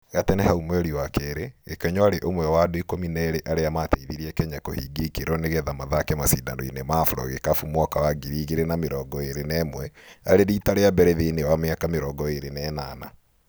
Gatene hau mweri wa kerĩ, Gĩkonyo arĩ ũmwe wa andũ ikũmi na erĩ arĩa ma teithirie Kenya kũhingia ikĩro nĩgetha mathake macindanoinĩ ma Afrogĩkabũ mwaka wa ngiri ĩgĩrĩ na mĩrongo ĩrĩ na ĩmwe arĩ rita rĩa mbere thĩinĩ wa mĩaka mĩrongo ĩrĩ na ĩnana.